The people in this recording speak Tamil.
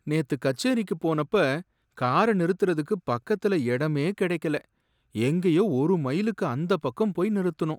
நேத்து கச்சேரிக்குப் போனப்ப கார நிறுத்துறதுக்கு பக்கத்துல எடமே கிடைக்கல, எங்கயோ ஒரு மைலுக்கு அந்தப் பக்கம் போய் நிறுத்துனோம்.